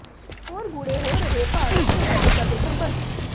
ਹੋਰ ਗੂੜ੍ਹੇ ਹੋ ਰਹੇ ਭਾਰਤ ਤੇ ਅਮਰੀਕਾ ਦੇ ਸਬੰਧ